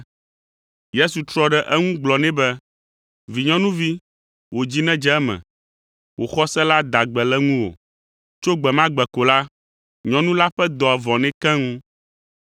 Yesu trɔ ɖe eŋu gblɔ nɛ be, “Vinyɔnuvi, wò dzi nedze eme! Wò xɔse la da gbe le ŋuwò.” Tso gbe ma gbe ko la, nyɔnu la ƒe dɔa vɔ nɛ keŋ.